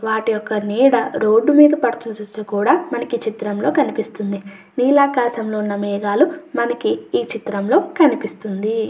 వాటి యొక్క నీడ రోడ్డు మీద ఈ చిత్రంలో కనిపిస్తుంది. నీలాకాశంలో ఉన్న మేఘాలు మనకి ఈ చిత్రంలో కనిపిస్తుంది.